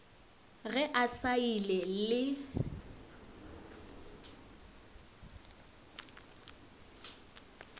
ge a sa ile le